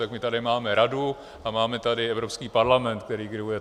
Tak my tady máme Radu a máme tady Evropský parlament, který griluje.